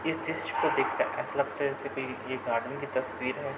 इस दिश को देखकर ऐसा लगता है जैसे कोई ये एक आदमी की तस्वीर है।